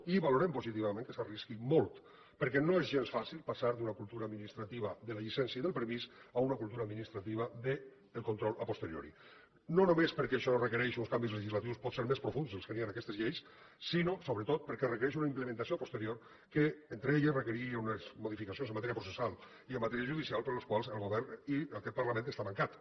i valorem positivament que s’arrisqui molt perquè no és gens fàcil passar d’una cultura administrativa de la llicència i del permís a una cultura administrativa del control a posteriori no només perquè això requereix uns canvis legislatius potser més profunds que els que hi ha en aquestes lleis sinó sobretot perquè requereix una implementació a posterioriunes modificacions en matèria processal i en matèria judicial per a les quals el govern i aquest parlament estan mancats